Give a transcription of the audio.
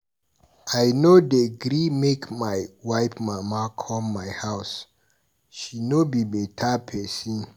I no dey gree make my wife mama come my house, she no be better pesin.